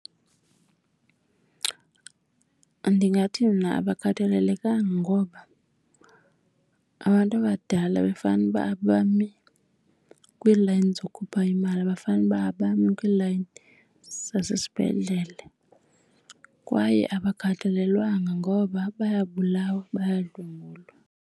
Ndingathi mna abakhathalelekanga ngoba abantu abadala bekufanuba abami kwiilayini zokhupha imali, bekufanuba abami kwiilayini zasesibhedlele. Kwaye abakhathalelwanga ngoba bayabulawa, bayadlwengulwa.